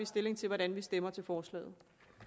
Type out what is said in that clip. stilling til hvordan vi stemmer til forslaget